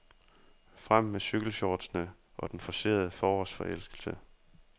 Frem med cykelshortsene og den forcerede forårsforelskelse.